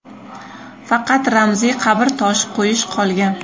Faqat ramziy qabr toshi qo‘yish qolgan.